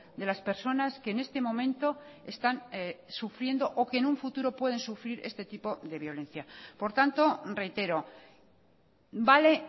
de las personas que en este momento están sufriendo o que en un futuro pueden sufrir este tipo de violencia por tanto reitero vale